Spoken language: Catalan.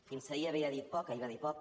fins ahir havia dit poc ahir va dir poc